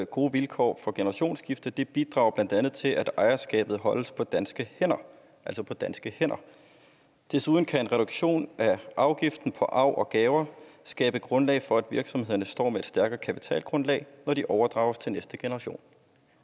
gode vilkår for generationsskifte det bidrager blandt andet til at ejerskabet holdes på danske hænder danske hænder desuden kan en reduktion af afgiften på arv og gave skabe grundlag for at virksomhederne står med et stærkere kapitalgrundlag når de overdrages til de næste generationer